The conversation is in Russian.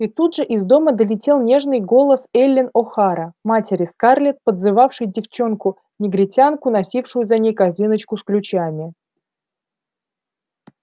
и тут же из дома долетел нежный голос эллин охара матери скарлетт подзывавшей девчонку-негритянку носившую за ней корзиночку с ключами